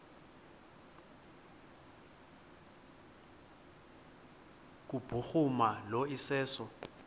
kubhuruma lo iseso